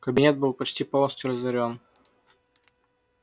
кабинет был почти полностью разорён